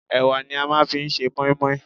Ẹwà ni a máa ń fi ṣe mọ́í-mọ́í.